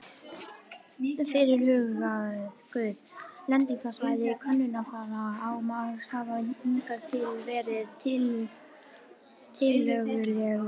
Fyrirhuguð lendingarsvæði könnunarfara á Mars hafa hingað til verið tiltölulega víðfeðm.